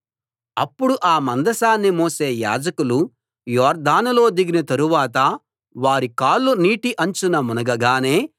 అప్పుడు ఆ మందసాన్ని మోసే యాజకులు యొర్దానులో దిగిన తరువాత వారి కాళ్లు నీటి అంచున మునగగానే